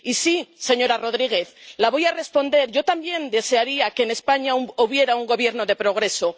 Y sí, señora González, le voy a responder yo también desearía que en España hubiera un gobierno de progreso.